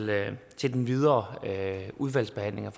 til den videre udvalgsbehandling